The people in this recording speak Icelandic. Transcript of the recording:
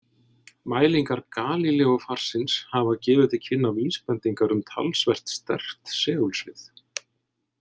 Mælingar Galíleófarsins hafa gefið til kynna vísbendingar um talsvert sterkt segulsvið.